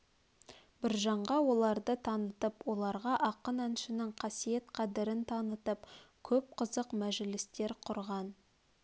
біржанға оларды танытып оларға ақын әншінің қасиет қадірін танытып көп қызық мәжілістер құрған